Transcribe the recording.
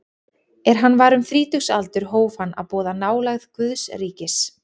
Er hann var um þrítugsaldur hóf hann að boða nálægð Guðs ríkis.